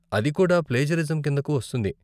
అది కూడా ప్లేజరిజం కిందకు వస్తుంది.